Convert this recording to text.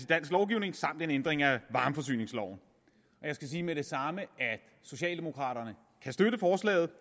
dansk lovgivning samt en ændring af varmeforsyningsloven jeg skal med det samme sige at socialdemokraterne kan støtte forslaget